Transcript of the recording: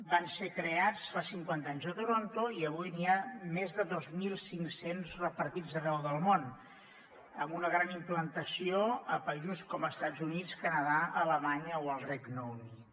van ser creats fa cinquanta anys a toronto i avui n’hi ha més de dos mil cinc cents repartits arreu del món amb una gran implantació a països com estats units canadà alemanya o el regne unit